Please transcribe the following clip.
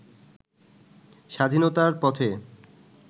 স্বাধীনতার পথে